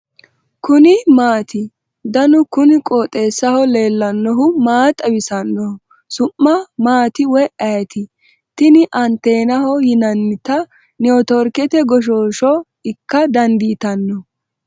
kuni maati ? danu kuni qooxeessaho leellannohu maa xawisanno su'mu maati woy ayeti ? tini anteenaho yinannita netiworkete goshshooshsho ikka dandiitanno .